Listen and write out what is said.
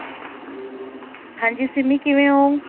ਹਾਂਜੀ ਸਿੰਮੀ ਕਿਵੇਂ ਹੋ?